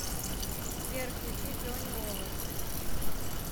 сбер включи джонни овод